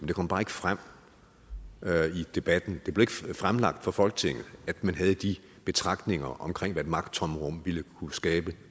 det kom bare ikke frem i debatten det blev ikke fremlagt for folketinget at man havde de betragtninger omkring hvad et magttomrum ville kunne skabe